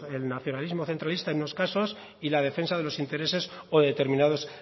el nacionalismo centralista en unos casos y la defensa de los intereses o determinados